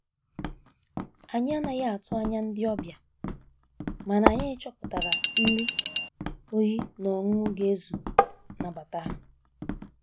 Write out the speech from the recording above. Anyi anaghi atụ anya ndi ọbia, mana anyi chọpụtara nrị oyi na ọńụńụ ga ezu nabata.